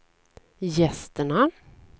gästerna